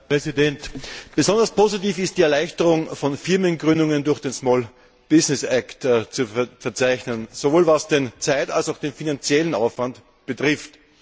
Herr Präsident! Besonders positiv ist die Erleichterung von Firmengründungen durch den Small Business Act zu verzeichnen, sowohl was den zeitlichen als auch was den finanziellen Aufwand betrifft.